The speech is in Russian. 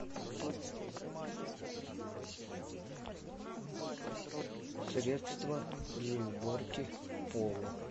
средство для уборки пола